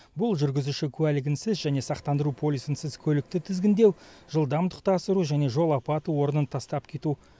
бұл жүргізуші куәлігінсіз және сақтандыру полисынсыз көлікті тізгіндеу жылдамдықты асыру және жол апаты орнын тастап кету